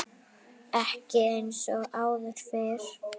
Ekki eins og áður fyrr.